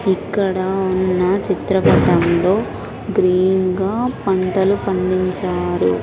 ఇక్కడ ఉన్న చిత్రపటంలో గ్రీన్ గా పంటలు పండించారు.